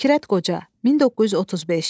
Fikrət Qoca, 1935.